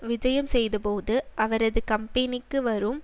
விஜயம் செய்யதபோது அவரது கம்பெனிக்கு வரும்